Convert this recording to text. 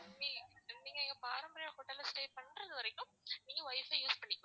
நீங்க எங்க பாரம்பரியம் ஹோட்டல்ல stay பண்றது வரைக்கும் நீங்க wifi use பண்ணிக்கலாம்.